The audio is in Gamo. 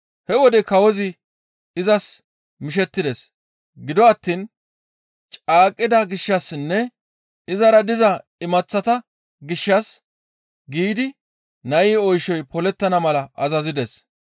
He wode kawozi izas mishettides. Gido attiin caaqqida gishshassinne izara diza imaththata gishshas giidi nayi oyshay polettana mala azazides.